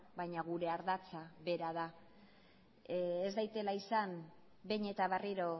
baina gure ardatza bera da ez daitela izan behin eta berriro